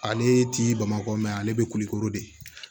Ale ti bamakɔ mɛ ale bɛ kulikoro de